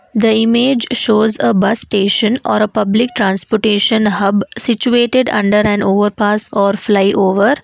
The image shows a bus station or a public transportation hub situated under and over pass or flyover.